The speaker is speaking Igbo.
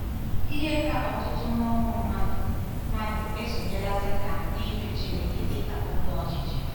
Ihe ka ọtụtụ n'ụmụ mmadụ mmadụ esonyela Setan n'ịjụ Chineke dị ka Onye Ọchịchị.